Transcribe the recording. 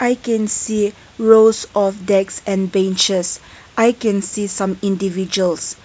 we can see rows of desk and benches i can see some individuals.